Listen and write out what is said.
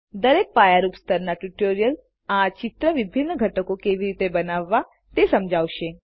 દરેક પાયારૂપ સ્તરના ટ્યુટોરીઅલ આ ચિત્રના વિભિન્ન ઘટકો કેવી રીતે બનાવવા તે સમજાવશે